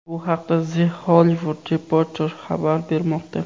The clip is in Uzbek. Bu haqda The Hollywood Reporter xabar bermoqda .